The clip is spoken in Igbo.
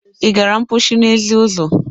Ị gara mposi n'ezi ọzọ?